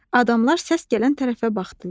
Adamlar səs gələn tərəfə baxdılar.